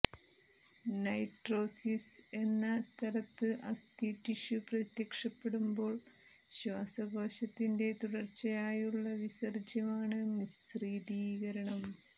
നൈട്രോസിസ് എന്ന സ്ഥലത്ത് അസ്ഥി ടിഷ്യു പ്രത്യക്ഷപ്പെടുമ്പോൾ ശ്വാസകോശത്തിന്റെ തുടർച്ചയായുള്ള വിസർജ്ജ്യമാണ് മിശ്രിതീകരണം